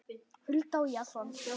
Hulda og Jason.